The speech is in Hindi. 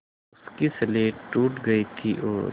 उसकी स्लेट टूट गई थी और